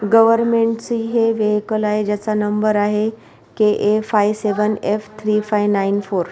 Government ची हे vehicle आहे ज्याचा नंबर आहे K A five seven F three five nine four.